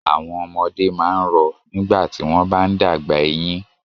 Àwọn ọmọdé máa ń rọ nígbà tí wọ́n bá ń dàgbà eyín.